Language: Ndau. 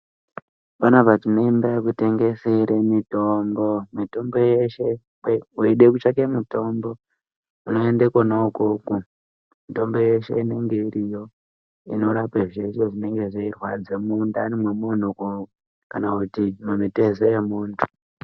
Panapa tineimba yekutengesere mitombo. Mitombo yeshe weide kutsvake mitombo unoenda kona ikoko mitombo yeshe inonga iriyo. Inorapa zveshe zvinonga zveirwadza mundani memuntu kana kuti mumitezo yemuntu.